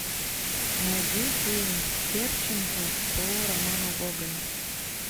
найди фильм степченко по роману гоголя